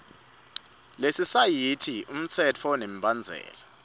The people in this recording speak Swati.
lelisayithi imitsetfo nemibandzela